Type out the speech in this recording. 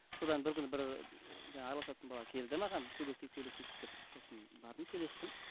содан бір күні бір жаңа араласатын бала келді маған сөйлесейік сөйлесейік деп сосын бардым сөйлестім